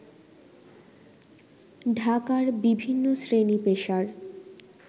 ঢাকার বিভিন্ন শ্রেনী-পেশার